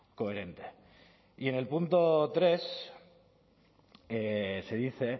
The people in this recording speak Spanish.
coherente y en el punto tres se dice